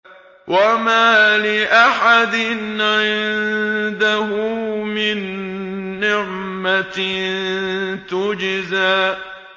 وَمَا لِأَحَدٍ عِندَهُ مِن نِّعْمَةٍ تُجْزَىٰ